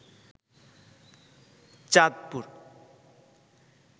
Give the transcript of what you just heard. Chandpur